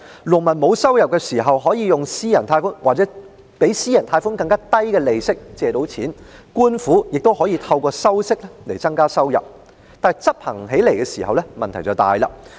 農民沒有收入時可以按私人貸款或更低於私人貸款的利息借款，而官府也可以透過收取利息來增加收入，不過，執行時卻出現很大的問題。